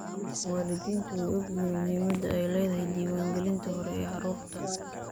Waalidiintu way ogyihiin muhiimadda ay leedahay diiwaangelinta hore ee carruurta.